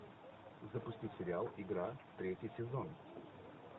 запусти сериал игра третий сезон